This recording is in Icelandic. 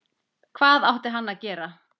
Hvað átti hann að gera?